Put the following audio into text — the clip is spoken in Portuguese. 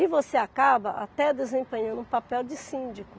E você acaba até desempenhando um papel de síndico.